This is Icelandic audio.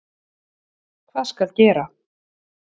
Hvað skal gera?